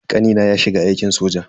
Kanina ya shiga aikin soja.